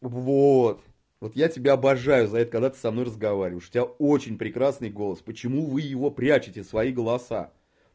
вот-вот я тебя обожаю за это когда ты со мной разговариваешь у тебя очень прекрасный голос почему вы его прячете свои голоса